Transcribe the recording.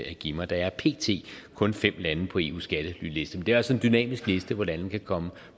at give mig der er pt kun fem lande på eus skattelyliste men det er altså en dynamisk liste hvor lande kan komme